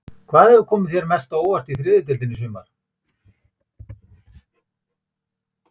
Hvað hefur komið þér mest á óvart í þriðju deildinni í sumar?